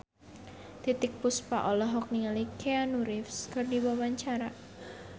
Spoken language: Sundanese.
Titiek Puspa olohok ningali Keanu Reeves keur diwawancara